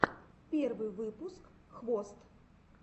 первый выпуск хвост